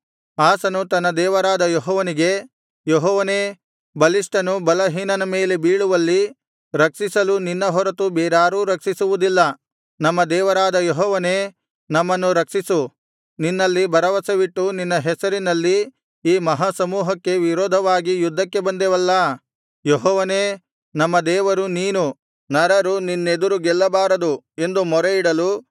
ಆಸನು ತನ್ನ ದೇವರಾದ ಯೆಹೋವನಿಗೆ ಯೆಹೋವನೇ ಬಲಿಷ್ಠನು ಬಲಹೀನನ ಮೇಲೆ ಬೀಳುವಲ್ಲಿ ರಕ್ಷಿಸಲು ನಿನ್ನ ಹೊರತು ಬೇರಾರೂ ರಕ್ಷಿಸುವುದಿಲ್ಲ ನಮ್ಮ ದೇವರಾದ ಯೆಹೋವನೇ ನಮ್ಮನ್ನು ರಕ್ಷಿಸು ನಿನ್ನಲ್ಲಿ ಭರವಸವಿಟ್ಟು ನಿನ್ನ ಹೆಸರಿನಲ್ಲಿ ಈ ಮಹಾಸಮೂಹಕ್ಕೆ ವಿರೋಧವಾಗಿ ಯುದ್ಧಕ್ಕೆ ಬಂದೆವಲ್ಲಾ ಯೆಹೋವನೇ ನಮ್ಮ ದೇವರು ನೀನು ನರರು ನಿನ್ನೆದುರು ಗೆಲ್ಲಬಾರದು ಎಂದು ಮೊರೆಯಿಡಲು